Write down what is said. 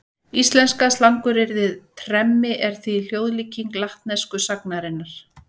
Íslenska slanguryrðið tremmi er því hljóðlíking latnesku sagnarinnar.